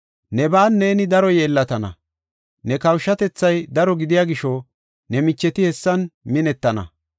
Neban neeni daro yeellatana; ne kawushatethay daro gidiya gisho ne micheti hessan minettana.